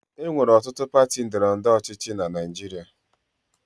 E nwere ọtụtụ pati ndọrọ ndọrọ ọchịchị na Naịjirịa.